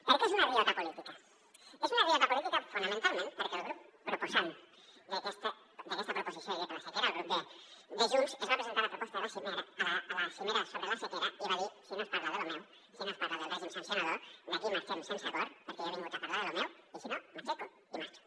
per què és una riota política és una riota política fonamentalment perquè el grup proposant d’aquesta proposició de llei per la sequera el grup de junts es va presentar a la cimera sobre la sequera i va dir si no es parla de lo meu si no es parla del règim sancionador d’aquí marxem sense acord perquè jo he vingut a parlar de lo meu i si no m’aixeco i marxo